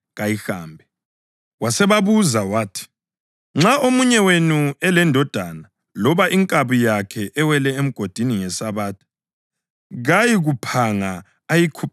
Wasebabuza wathi, “Nxa omunye wenu elendodana loba inkabi yakhe ewele emgodini ngeSabatha, kayikuphanga ayikhuphe masinyane na?”